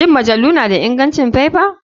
Shin majalu na da ingancin faifa?